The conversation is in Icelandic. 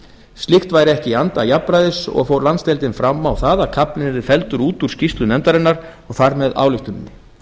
slíkt væri ekki í anda jafnræðis og fór landsdeildin fram á það að kaflinn yrði fellur út úr skýrslu nefndarinnar og þar með ályktuninni